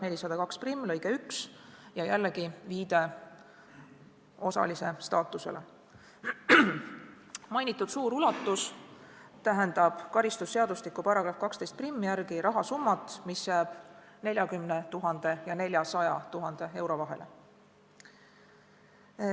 Märgitud suur ulatus tähendab karistusseadustiku § 121 järgi rahasummat, mis jääb 40 000 ja 400 000 euro vahele.